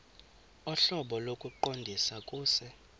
ohlobo lokuqondisa kuse